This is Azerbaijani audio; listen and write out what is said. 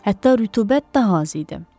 Hətta rütubət daha az idi.